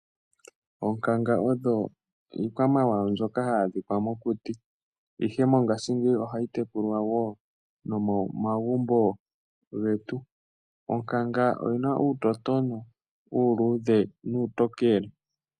Oonkanga odho iikwamawawa mbyoka hayi adhika mokuti. Ihe mongaashingeyi ohayi tekulwa woo nomomagumbo getu. Onkanga oyina uutotona uuluudhe nuutokele.